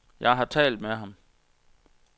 Jeg har talt med ham.